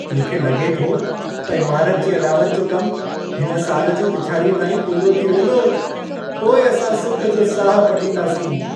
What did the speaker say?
मूंखे लॻे थो त इमारत जी अॾावत जो कम हिन साल जी पिछाड़ीअ ताईं पूरो थी वेंदो। पोइ असां सुख जो साह पटींदासीं।